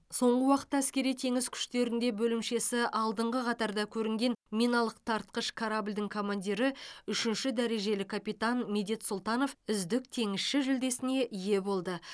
соңғы уақытта әскери теңіз күштерінде бөлімшесі алдыңғы қатарда көрінген миналық тартқыш корабльдің командирі үшінші дәрежелі капитан медет сұлтанов үздік теңізші жүлдесіне ие болды